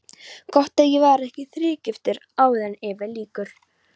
Gott ef ég verð ekki þrígiftur áður en yfir lýkur.